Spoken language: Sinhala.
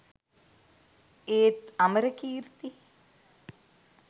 ඒත් අමරකීර්ති